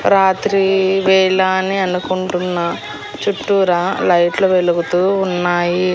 రాత్రి వేళా అని అనుకుంటున్నా చుట్టూరా లైట్లు వెలుగుతూ ఉన్నాయి.